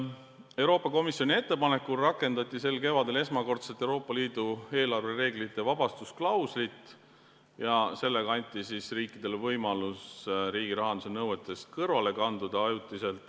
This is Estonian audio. Euroopa Komisjoni ettepanekul rakendati sel kevadel esmakordselt Euroopa Liidu eelarvereeglite vabastusklauslit ja sellega anti riikidele võimalus riigirahanduse nõuetest ajutiselt kõrvale kalduda.